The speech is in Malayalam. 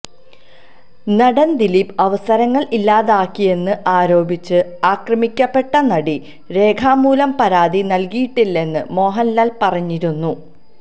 നടൻ ദിലീപ് അവസരങ്ങൾ ഇല്ലാതാക്കിയെന്ന് ആരോപിച്ച് ആക്രമിക്കപ്പെട്ട നടി രേഖാമൂലം പരാതി നൽകിയിട്ടില്ലെന്ന് മോഹൻലാൽ പറഞ്ഞിരുന്നു